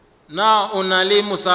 na o na le mosadi